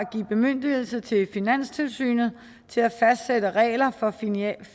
bemyndigelse til finanstilsynet til at fastsætte regler for